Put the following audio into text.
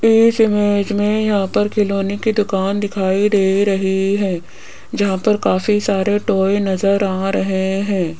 इस इमेज में यहां पर खिलौने की दुकान दिखाई दे रही है जहां पर काफी सारे टॉय नजर आ रहे हैं।